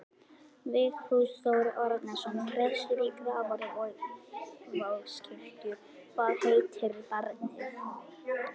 Vigfús Þór Árnason, prestur í Grafarvogskirkju: Hvað heitir barnið?